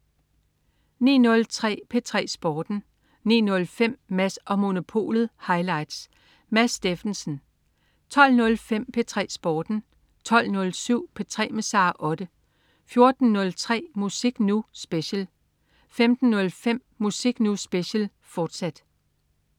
09.03 P3 Sporten 09.05 Mads & Monopolet highlights. Mads Steffensen 12.05 P3 Sporten 12.07 P3 med Sara Otte 14.03 Musik Nu! Special 15.05 Musik Nu! Special, fortsat